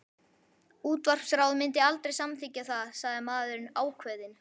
Útvarpsráð myndi aldrei samþykkja það, sagði maðurinn ákveðið.